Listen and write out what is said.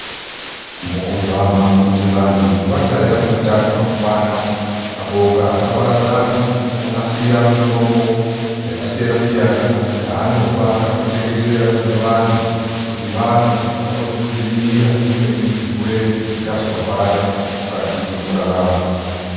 Mukuzama kuti vantu vagare vane utano hwakakwana, mapoka akaparadzana onasira mitombo yakasiyana-siyana yaanopa kana kutengesera kune vantu kuti vamwe kuti vakone kudzivirira zvimweni zvirwere zvingazovabata mukati mwekurarama.